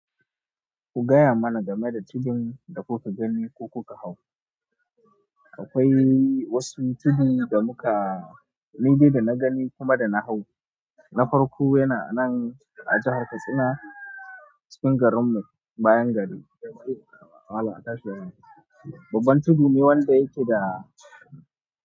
Ku gaya mana game da tudun da kuka gani ko kuka hau. Akwai wasu tudu da muka nidai da na gani kuma da na hau. Na farko yana a nan a jahar Katsina cikin garinmu bayan gari. Babban tudu ne wanda yake da.